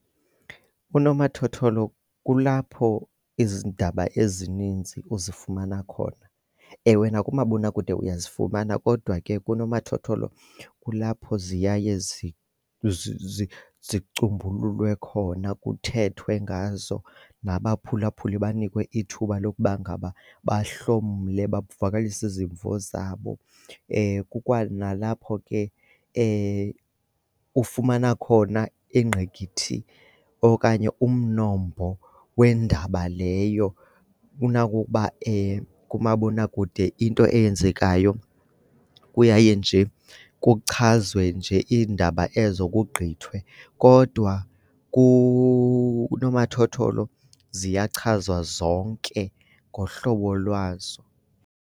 Unomathotholo kulapho izindaba ezininzi uzifumana khona. Ewe nakumabonakude uyazifumana kodwa ke kunomathotholo kulapho ziyaye zicumbululwe khona kuthethwe ngazo nabaphulaphuli banikwe ithuba lokuba ngaba bahlomle, bavakalise izimvo zabo. Kukwanalapho ke ufumana khona ingqikithi okanye umnombo wendaba leyo. Unako ukuba kumabonakude into eyenzekayo kuyaye nje kuchazwe nje iindaba ezo kugqithwe, kodwa kunomathotholo ziyachazwa zonke ngohlobo lwazo.